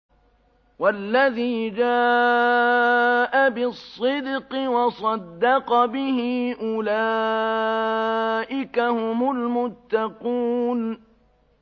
وَالَّذِي جَاءَ بِالصِّدْقِ وَصَدَّقَ بِهِ ۙ أُولَٰئِكَ هُمُ الْمُتَّقُونَ